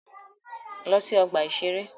Lọ sí ọgbà-ìṣeré!